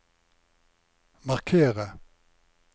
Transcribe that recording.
markere